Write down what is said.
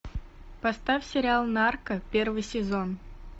поставь сериал нарко первый сезон